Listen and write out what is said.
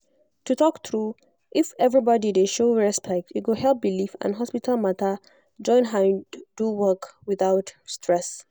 to talk true if everybody dey show respect e go help belief and hospital matter join hand do work without stress.